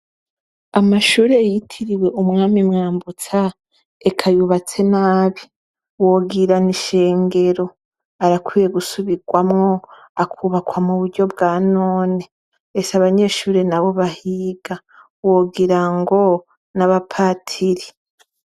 Amashure yitiriwe umwami Mwambutsa eka yubatse nabi wogira nishengero arakwiye gusubirwamwo akubakwa muburyo bwanone ese abanyeshure nabo bahiga wogirango nabapatiri.